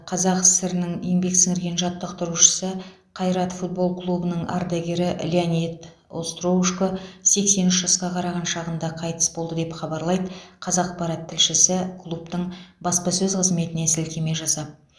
қазақ сср ның еңбек сіңірген жаттықтырушысы қайрат футбол клубының ардагері леонид остроушко сексен үш жасқа қараған шағында қайтыс болды деп хабарлайды қазақпарат тілшісі клубтың баспасөз қызметіне сілтеме жасап